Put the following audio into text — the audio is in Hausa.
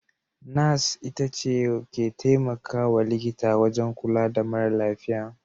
Nas (Nurser) shi/ita ne/ce ke temakawa likita wajan kula da mara lafiya.